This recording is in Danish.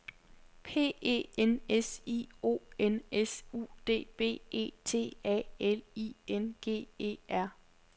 P E N S I O N S U D B E T A L I N G E R